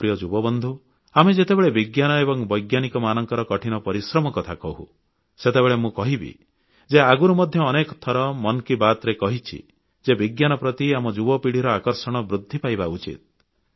ମୋର ପ୍ରିୟ ଯୁବବନ୍ଧୁ ଆମେ ଯେତେବେଳେ ବିଜ୍ଞାନ ଏବଂ ବୈଜ୍ଞାନିକମାନଙ୍କ କଠିନ ପରିଶ୍ରମ କଥା କହୁଁ ସେତେବେଳେ ମୁଁ କହିବି ଯେ ଆଗରୁ ମଧ୍ୟ ଅନେକ ଥର ମନ୍ କି ବାତ୍ରେ କହିଛି ଯେ ବିଜ୍ଞାନ ପ୍ରତି ଆମ ଯୁବପିଢ଼ିର ଆକର୍ଷଣ ବୃଦ୍ଧି ପାଇବା ଉଚିତ